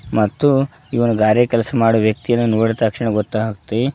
ಮತ್ತು ಇವನು ಗಾರೆ ಕೆಲಸ ಮಾಡುವ ವ್ಯಕ್ತಿಯನ್ನು ನೋಡಿದ ತಕ್ಷಣ ಗೊತ್ತಾಗುತ್ತೆ.